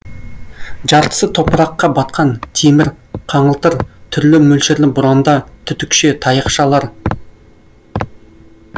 жартысы топыраққа батқан темір қаңылтыр түрлі мөлшерлі бұранда түтікше таяқшалар